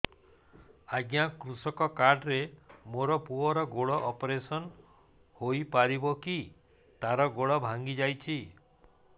ଅଜ୍ଞା କୃଷକ କାର୍ଡ ରେ ମୋର ପୁଅର ଗୋଡ ଅପେରସନ ହୋଇପାରିବ କି ତାର ଗୋଡ ଭାଙ୍ଗି ଯାଇଛ